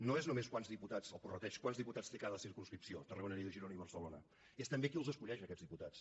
no és només quants diputats el prorrateig té cada circumscripció tarragona lleida girona i barcelona és també qui els escull aquests diputats